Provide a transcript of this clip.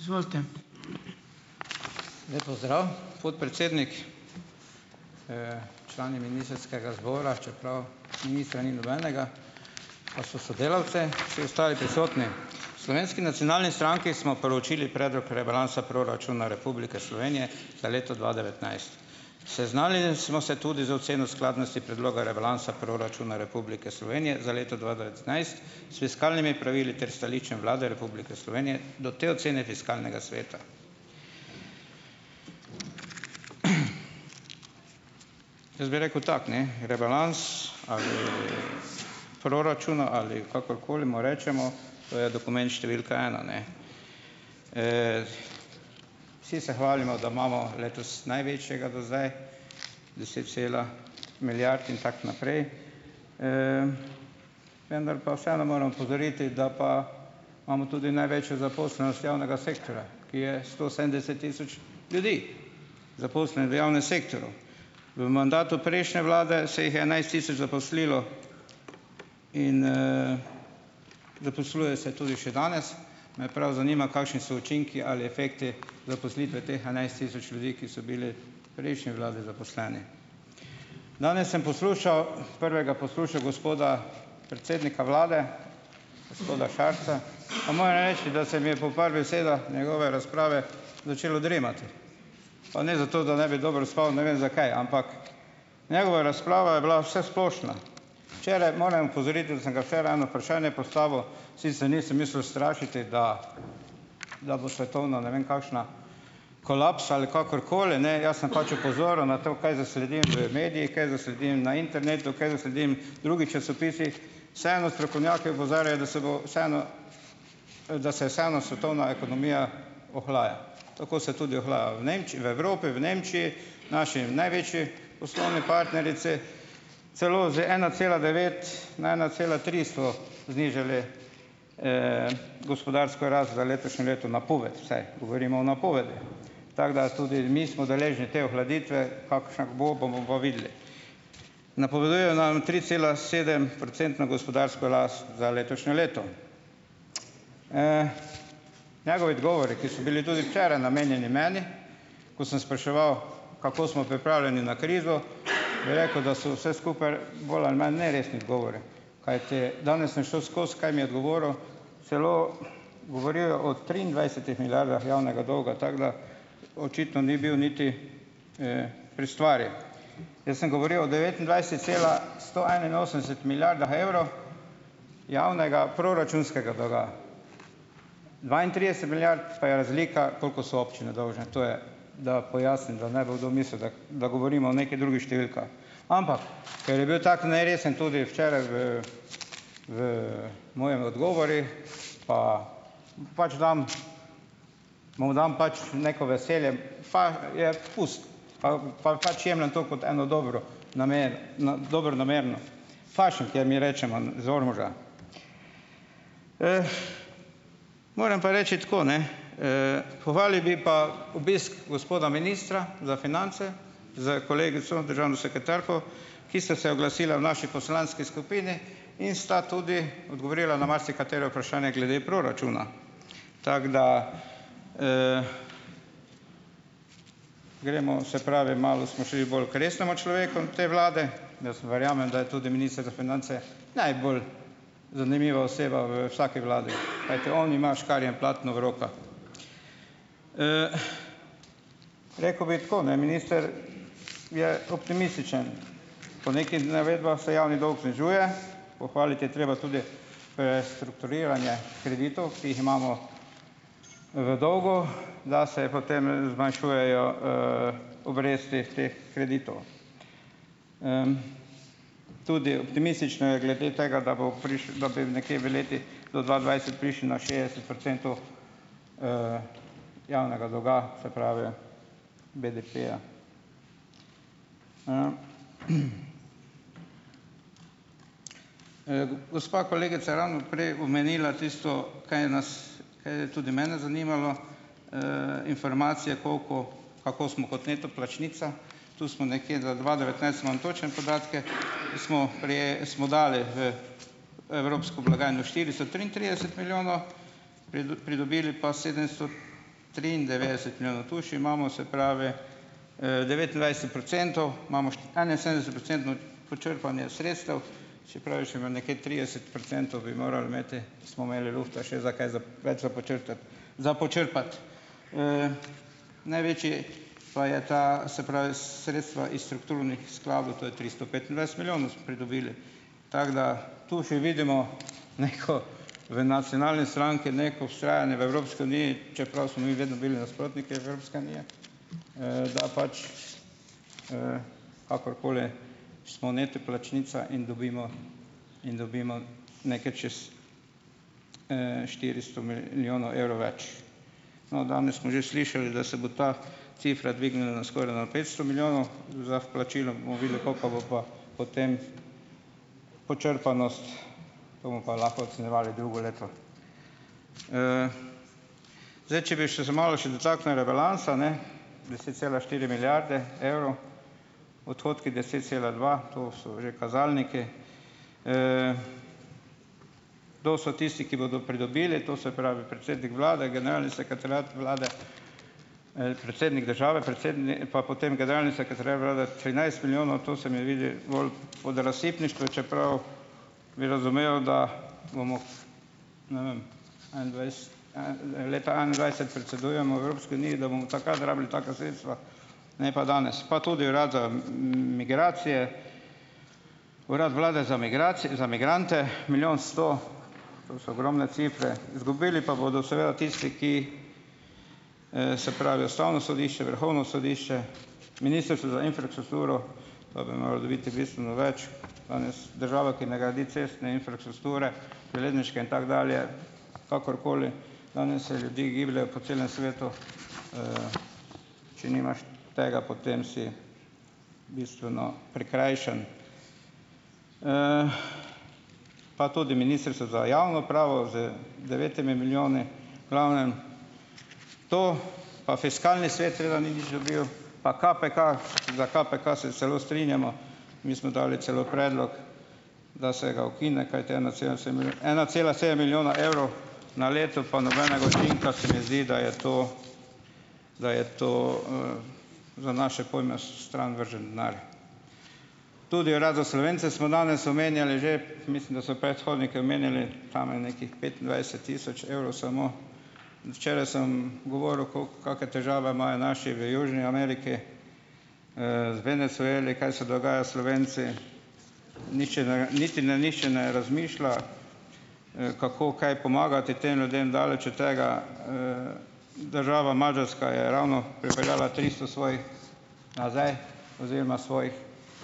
Izvolite. Lep pozdrav, podpredsednik, člani ministrskega zbora, čeprav ministra ni nobenega, pa so sodelavci, vsi ostali prisotni! V Slovenski nacionalni stranki smo proučili predlog rebalansa proračuna Republike Slovenije za leto dva devetnajst. Seznanili smo se tudi z oceno skladnosti predloga rebalansa proračuna Republike Slovenije za leto dva devetnajst, s fiskalnimi pravili ter stališčem Vlade Republike Slovenije do te ocene fiskalnega sveta. Jaz bi rekel tako, ne, rebalans ali proračuna ali kakorkoli mu rečemo, to je številka ena, ne. Vsi se hvalimo, da imamo letos največjega do zdaj, deset cela milijard in tako naprej, vendar pa vseeno moram opozoriti, da pa imamo tudi največjo zaposlenost javnega sektorja, ki je sto sedemdeset tisoč ljudi v javnem sektorju. V mandatu prejšnje vlade se jih je enajst tisoč zaposlilo in zaposluje se tudi še danes. Me prav zanima, kakšni so učinki ali efekti zaposlitve teh enajst tisoč ljudi, ki so bili prejšnji vladi zaposleni. Danes sem poslušal, prvega poslušal gospoda predsednika vlade, gospoda Šarca, pa moram reči, da se mi je po par besedah njegove razprave začelo dremati. Pa ne zato, da ne bi dobro spal, ne vem, zakaj, ampak njegova razprava je bila vsesplošna. Včeraj, morem opozoriti, da sem ga včeraj eno vprašanje postavil, nisem mislil strašiti, da ne vem, kakšna kolaps ali kakorkoli, ne, jaz sem pač opozoril na to, kaj zasledim v medijih, kaj zasledim na internetu, kaj zasledim v časopisih, vseeno strokovnjaki opozarjajo, da se bo vseeno, da se vseeno svetovna ekonomija ohlaja. Tako se tudi ohlaja v v Evropi, v Nemčiji, v naši največji poslovni partnerici , celo z ena cela devet na ena cela tri so znižali gospodarsko rast za letošnje leto, napoved vsaj, govorimo o napovedi, tako da tudi mi smo deležni te ohladitve, kakšna bo, bomo pa videli. Napovedujejo nam tricelasedemprocentno gospodarsko rast za letošnje leto. Njegovi odgovori, ki so bili tudi včeraj namenjeni meni, ko sem spraševal, kako smo pripravljeni na krizo, bi rekel, da so vse skupaj bolj ali manj neresni odgovori, kajti danes sem šel skozi. Kaj mi je odgovoril? Celo govorijo o triindvajsetih milijardah javnega dolga, tako da, očitno ni bil niti pri stvari. Jaz sem govoril o cela sto enainosemdeset milijardah evrov javnega proračunskega dolga. Dvaintrideset milijard pa je razlika, koliko so občine dolžne. To je, da pojasnim, da ne bo kdo mislil, da da govorimo o Ampak, ker je bil tako neresen tudi včeraj v v mojih odgovorih , pa pač dam, mu dam pač neko veselje. je pust, pa pač jemljem to kot eno dobro namero dobronamerno, kjer mi rečemo iz Ormoža. Moram pa reči tako, ne, kovali bi pa obisk gospoda ministra za finance s kolegico državno sekretarko, ki sta se oglasila v naši poslanski skupini in sta tudi odgovorila na marsikatero vprašanje glede proračuna. Tako da, gremo, se pravi, malo smo šli bolj k resnemu človeku te vlade. Jaz verjamem, da je tudi minister za finance najbolj zanimiva oseba v vsaki vladi, kajti on ima škarje in platno v rokah. Rekel bi tako, ne, minister je optimističen. Po nekih navedbah se javni dolg znižuje, pohvaliti je treba tudi strukturiranje kreditov, ki jih imamo v dolgu, da se potem zmanjšujejo obresti teh kreditov. Tudi optimistično je glede tega, da bo da bi nekje v letih do dva dvajset prišli na šestdeset procentov javnega dolga, se pravi, BDP-ja. Gospa kolegica je ravno prej omenila tisto, kaj nas kaj je tudi mene zanimalo, informacije, koliko, kako smo kot neto plačnica. Tu smo nekje, za dva devetnajst imam točno podatke, smo smo dali v evropsko blagajno štiristo triintrideset milijonov, pridobili pa sedemsto triindevetdeset milijonov, tu še imamo, se pravi procentov, imamo enainsedemdesetprocentno počrpanje sredstev, trideset procentov bi moral imeti, smo imeli lufta še za kaj za več za počrtati. Za počrpati. Največji pa je ta, se pravi sredstva is strukturnih skladov, to je tristo petindvajset milijonov pridobili. Tako, da tu še vidimo neko v Nacionalni stranki neko vztrajanje v Evropski uniji, čeprav smo mi vedno bili nasprotniki Evropske unije, da pač kakorkoli smo neto plačnica in dobimo in dobimo nekaj čez štiristo milijonov več. No, danes smo že slišali, da se bo ta cifra dvignila na skoraj na petsto milijonov za vplačilo, bomo videli, koka bo pa potem počrpanost, to pa lahko ocenjevali drugo leto. Zdaj, če bi še se malo še dotaknili rebalansa, ne, deset cela štiri milijarde evrov, odhodki deset cela dva to so že kazalniki. Kdo so tisti, ki bodo pridobili? To se pravi predsednik vlade, generalni sekretariat vlade, predsednik države, pa potem generalni trinajst milijonov, to se mi vidi bolj odrazsipniško, čeprav bi razumel, da bomo ne vem, leta enaindvajset predsedujemo Evropski uniji, da bomo takrat rabili taka sredstva, ne pa danes, pa tudi urad za migracije, Urad Vlade za za migrante milijon sto, to so ogromne cifre. Zgubili pa bodo seveda tisti, ki, se pravi Ustavno sodišče, Vrhovno sodišče, Ministrstvo za infrakstrukturo, bistveno več, danes država, ki ne gradi cestne infrastrukture železniške in tako dalje, kakorkoli, danes se ljudje gibljejo po celem svetu če nimaš tega, potem si bistveno prikrajšan. Pa tudi Ministrstvo za javno upravo z devetimi milijoni. V glavnem to. Pa fiskalni svet nič dobil, pa KPK, za KPK se celo strinjamo, mi smo dali celo predlog, da se ga ukine, kajti ena cela sedem milijona evrov na leto zdi, da je to, da je to za naše pojme stran vržen denar. Tudi Urad za Slovence smo danes omenjali že, mislim, da so predhodniki omenjali tam nekih petindvajset tisoč evrov samo. Včeraj sem govoril, koliko kake težave imajo naši v južni Ameriki, Venezueli kaj se dogaja s Slovenci, nihče ne niti ne nihče ne razmišlja kako, kaj pomagati tem ljudem, daleč od tega Država Madžarska je ravno pripeljala tristo svojih nazaj oziroma svojih